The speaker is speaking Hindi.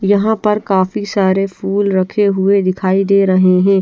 यहां पर काफी सारे फूल रखे हुए दिखाई दे रहे हैं।